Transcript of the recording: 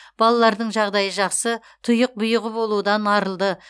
балалардың жағдайы жақсы тұйық бұйығы болудан арылды